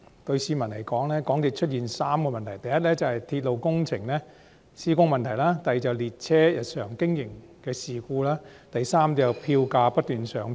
對市民來說，港鐵公司有3個問題：第一，是鐵路工程的施工問題；第二，是列車日常經營出現事故；第三，是票價不斷上漲。